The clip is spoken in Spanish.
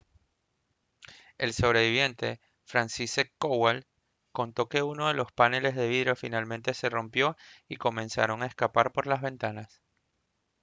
un sobreviviente franciszek kowal «contó que uno de los paneles de vidrio finalmente se rompió y comenzaron a escapar por la ventana»